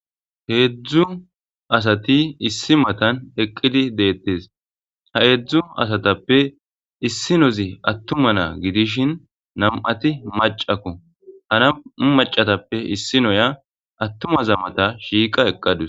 heedzdzu asati issi matan eqqidi deettes ha heedzdzu asatappe issi nozi attuma naa gidishin nam7ati macakko hana macatappe issi noya attumaza mata shiiqa eqqadus